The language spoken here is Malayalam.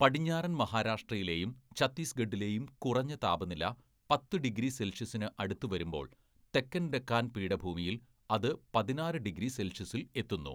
പടിഞ്ഞാറൻ മഹാരാഷ്ട്രയിലെയും ഛത്തീസ്ഗഢിലെയും കുറഞ്ഞ താപനില പത്ത്‌ ഡിഗ്രി സെൽഷ്യസിന് അടുത്തുവരുമ്പോള്‍ തെക്കൻ ഡെക്കാൻ പീഠഭൂമിയിൽ അത് പതിനാറ്‌ ഡിഗ്രി സെൽഷ്യസിൽ എത്തുന്നു.